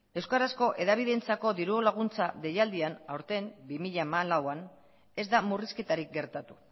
euskarazko erabideentzako diru laguntza deialdian aurten bi mila hamalauan ez da murrizketarik gertatu